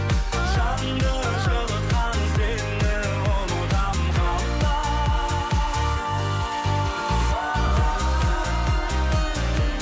жанды жылытқан сені ұмытамын қалай